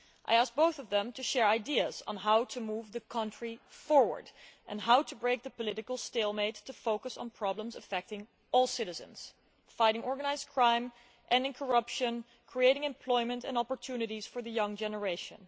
I asked both of them to share ideas on how to move the country forward and how to break the political stalemate to focus on problems affecting all citizens fighting organised crime, ending corruption, creating employment and opportunities for the young generation.